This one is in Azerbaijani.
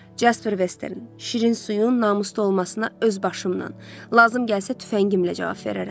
Casper Western şirin suyun namuslu olmasına öz başımla, lazım gəlsə tüfəngimlə cavab verərəm.